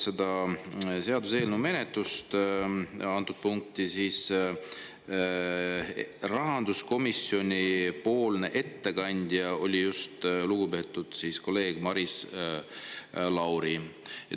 Selle seaduseelnõu menetlemisel antud punktis oli rahanduskomisjoni ettekandja lugupeetud kolleeg Maris Lauri.